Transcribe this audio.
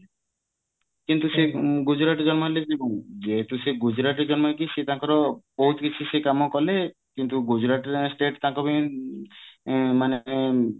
କିନ୍ତୁ ସେ ଗୁଜୁରାଟରେ ଜନ୍ମ ହେଲେ ବି କଣ ଯେହେତୁ ସେ ଗୁଜୁରାଟରେ ଜନ୍ମ ହେଇକି ସେ ତାଙ୍କର ବହୁତ କିଛି ସେ କାମକଲେ କିନ୍ତୁ ଗୁଜୁରାଟ state ତାଙ୍କ ପାଇଁ ଇଁ ମାନେ